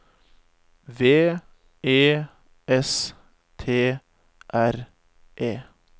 V E S T R E